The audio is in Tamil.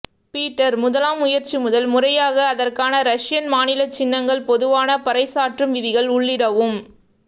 பீட்டர் முதலாம் முயற்சி முதல் முறையாக அதற்கான ரஷியன் மாநில சின்னங்கள் பொதுவான பறைசாற்றும் விதிகள் உள்ளிடவும்